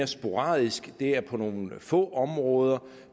sporadisk det er på nogle få områder